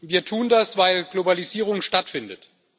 Wir tun das, weil Globalisierung stattfindet.